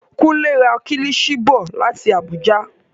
Kunle ra kílishi bọ̀ láti Abuja.